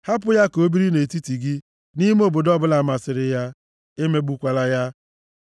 hapụ ya ka o biri nʼetiti gị nʼime obodo ọbụla masịrị ya, emegbukwala ya.